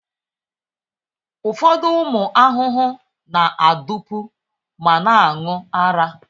Ụfọdụ ụmụ ahụhụ na-adụpu ma na-aṅụ ara.